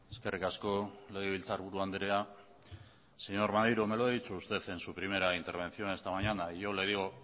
eskerrik asko legebiltzarburu andrea señor maneiro me lo ha dicho usted en su primera intervención esta mañana yo le digo